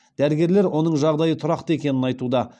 дәрігерлер оның жағдайы тұрақты екенін айтуда